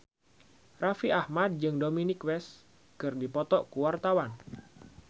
Raffi Ahmad jeung Dominic West keur dipoto ku wartawan